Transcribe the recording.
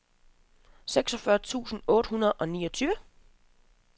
seksogfyrre tusind otte hundrede og niogtyve